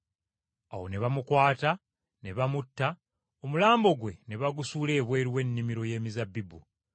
Awo ne bamukwata ne bamutta omulambo gwe ne bagusuula ebweru w’ennimiro y’emizabbibu.